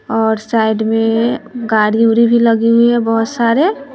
और साइड में गारी उरी भी लगी हुई है बहोत सारे।